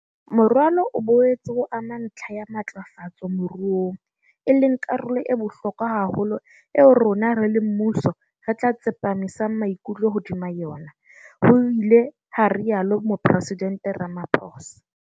Moralo o boetse o ama ntlha ya matlafatso moruong, e leng karolo e bohlokwa haholo eo rona, re le mmuso, re tla tsepamisa maikutlo hodima yona, ho ile ha rialo mopresidente Ramaphosa.